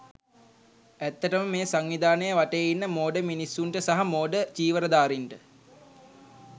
ඇත්තටම මේ සංවිධානය වටේ ඉන්න මෝඩ මිනිස්සුන්ට සහ මෝඩ චීවරධාරීන්ට